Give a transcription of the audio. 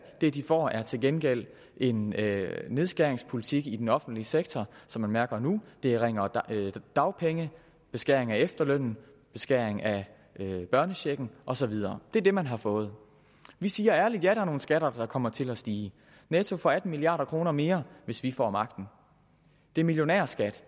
det de får er til gengæld en nedskæringspolitik i den offentlige sektor som man mærker nu det er ringere dagpenge beskæring af efterlønnen beskæring af børnechecken og så videre det er det man har fået vi siger ærligt ja er nogle skatter der kommer til at stige netto for atten milliard kroner mere hvis vi får magten det er millionærskat